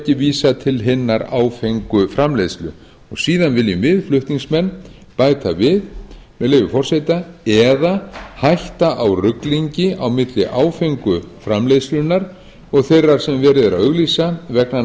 ekki vísað til hinnar áfengu framleiðslu og síðan viljum við flutningsmenn bæta við með leyfi forseta eða hætta á ruglingi á milli áfengu framleiðslunnar og þeirrar sem verið er að auglýsa vegna